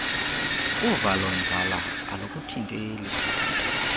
uvalo nzala alukuthinteli